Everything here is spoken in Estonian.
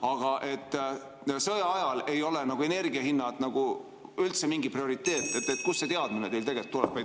Aga see, et sõja ajal ei ole energiahinnad üldse mingi prioriteet – kust see teadmine teil tuleb?